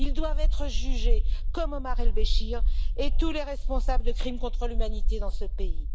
Ils doivent être jugés comme Omar el Béchir et tous les responsables de crimes contre l'humanité dans ce pays.